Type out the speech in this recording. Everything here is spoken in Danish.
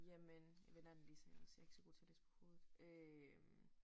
Jamen jeg vender den lige så jeg også jeg ikke så god til at læse på hovedet øh